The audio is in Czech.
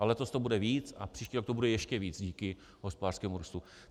A letos to bude víc a příští rok to bude ještě víc díky hospodářskému růstu.